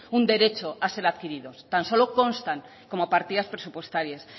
un derecho a ser adquiridos tan solo constan como partidas presupuestarias